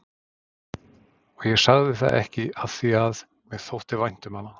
Og ég sagði það ekki afþvíað mér þótti vænt um hana.